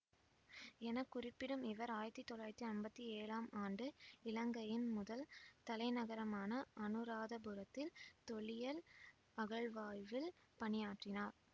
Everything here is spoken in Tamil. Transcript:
என குறிப்பிடும் இவர் ஆயிரத்தி தொள்ளாயிரத்தி அம்பத்தி ஏழாம் ஆண்டு இலங்கையின் முதல் தலைநகரமான அநுராதபுரத்தில் தொல்லியல் அகழ்வாய்வில் பணியாற்றினார்